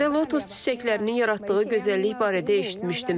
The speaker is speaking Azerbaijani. Bu mövsümdə lotus çiçəklərinin yaratdığı gözəllik barədə eşitmişdim.